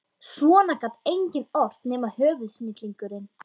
Svona gat enginn ort nema höfuðsnillingurinn